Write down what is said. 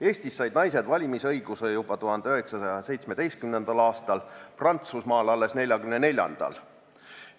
Eestis said naised valimisõiguse juba 1917. aastal, Prantsusmaal alles 1944. aastal.